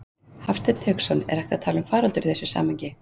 Hafsteinn Hauksson: Er hægt að tala um faraldur í þessu samhengi?